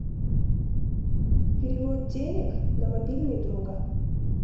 перевод денег на мобильный друга